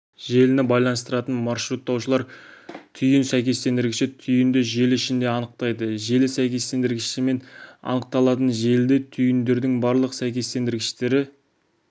желіні байланыстыратын маршруттаушылар түйін сәйкестендіргіші түйінді желі ішінде анықтайды желі сәйкестендіргіштермен анықталатын желіде түйіндердің барлық сәйкестендіргіштері